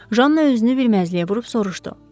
Janna özünü bilməzliyə vurub soruşdu.